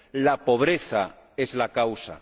La pobreza es la causa.